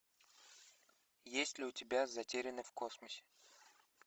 есть ли у тебя затерянный в космосе